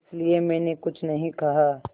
इसलिए मैंने कुछ नहीं कहा